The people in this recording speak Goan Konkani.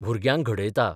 भुरग्यांक घडयता.